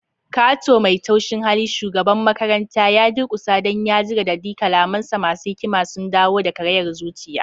Kato mai taushin hali, shugaban makaranta, ya durkusa don ya ji radadi, kalamansa masu hikima sun dawo da karayar zuciya.